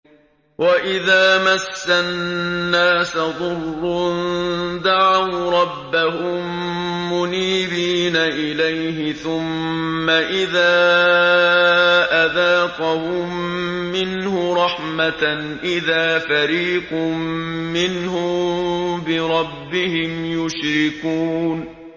وَإِذَا مَسَّ النَّاسَ ضُرٌّ دَعَوْا رَبَّهُم مُّنِيبِينَ إِلَيْهِ ثُمَّ إِذَا أَذَاقَهُم مِّنْهُ رَحْمَةً إِذَا فَرِيقٌ مِّنْهُم بِرَبِّهِمْ يُشْرِكُونَ